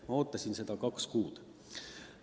Ma ootasin seda kaks kuud.